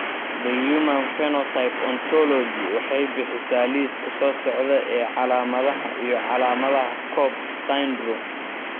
The Human Phenotype Ontology waxay bixisaa liiska soo socda ee calaamadaha iyo calaamadaha Cobb syndrome.